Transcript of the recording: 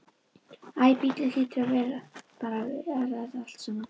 Æ, bíllinn hlýtur að bera þetta allt saman.